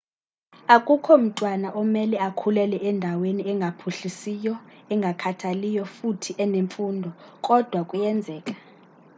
akukho mtwana omele akhulele endaweni engaphuhlisiyo engakhathaliyo futhi enemfundo kodwa kuyenzeka